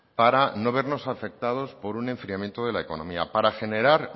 para no vernos afectados por un enfriamiento de la economía para generar